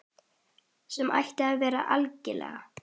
Sem ætti að vera algilt.